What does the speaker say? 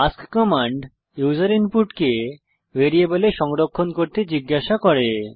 ask command user ইনপুটকে ভ্যারিয়েবলে সংরক্ষণ করতে জিজ্ঞাসা করে